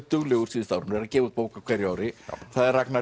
duglegur síðustu árin er að gefa út bók á hverju ári það er Ragnar